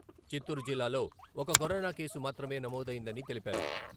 చిత్తూరు జిల్లాలో ఒక corona case మాత్రమే నమోదయిందని తెలిపారు.